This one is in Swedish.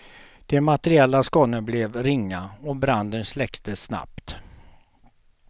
De materiella skadorna blev ringa och branden släcktes snabbt.